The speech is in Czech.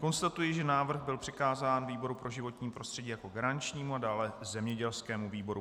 Konstatuji, že návrh byl přikázán výboru pro životní prostředí jako garančnímu a dále zemědělskému výboru.